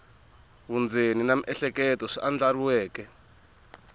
vundzeni na miehleketo swi andlariweke